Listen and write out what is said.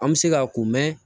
An bɛ se k'a ko